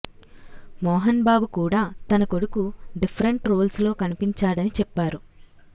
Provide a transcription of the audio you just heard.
మోహన్ బాబు కూడా తన కొడుకు డిఫరెంట్ రోల్స్ లో కనిపించాడని చెప్పారు